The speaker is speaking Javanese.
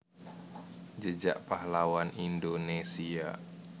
Jejak Pahlawan Indonésia